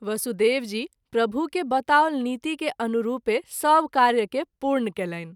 वसुदेव जी प्रभु के बताओल नीति के अनुरूपें सभ कार्य के पूर्ण कएलनि।